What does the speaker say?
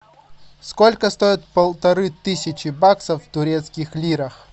сколько стоит полторы тысячи баксов в турецких лирах